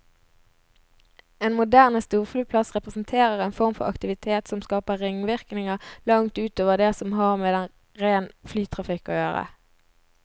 En moderne storflyplass representerer en form for aktivitet som skaper ringvirkninger langt ut over det som har med den rene flytrafikk å gjøre.